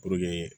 Puruke